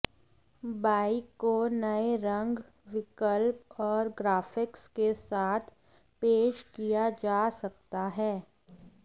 bike को नए रंग विकल्प और ग्राफिक्स के साथ पेश किया जा सकता है